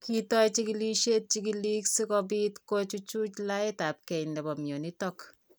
Kitoi chigilishet chigilik sikobit kochuchuch letaetabge nebo mionitok